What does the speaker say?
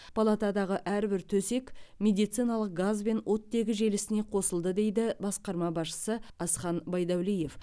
палатадағы әрбір төсек медициналық газ бен оттегі желісіне қосылды дейді басқарма басшысы асхан байдуәлиев